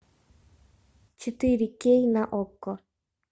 четыре кей на окко